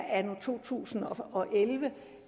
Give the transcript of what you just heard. anno to tusind og elleve